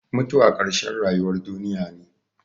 Mutuwa ƙarshen rayuwar duniya ne.